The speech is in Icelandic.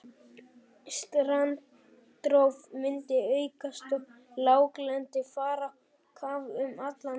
Strandrof myndi aukast og láglendi fara á kaf um allan heim.